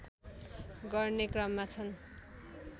गर्ने क्रममा छन्